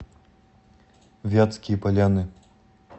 вятские поляны